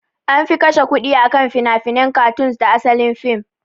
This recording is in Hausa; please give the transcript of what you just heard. Anfi kashe kudi akan finafinen katoons da asalin fim